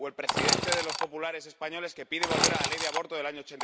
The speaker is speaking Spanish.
O el presidente de los populares españoles, que pide volver a Ley del aborto del año